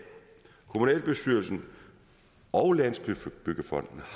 kommunalbestyrelsen og landsbyggefonden